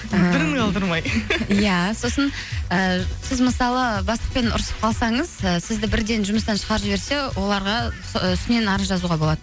ыыы дымын қалдырмай иә сосын і сіз мысалы бастықпен ұрысып қалсаңыз і сізді бірден жұмыстан шығарып жіберсе оларға үстінен арыз жазуға болады